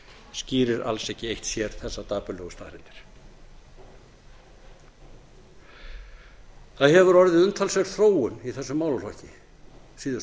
skýrir alls ekki eitt sér þessar dapurlegu staðreyndir það hefur orðið umtalsverð þróun í þessum málaflokki